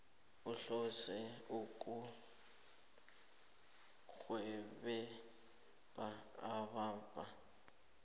uhlose ukurhelebha ababhadela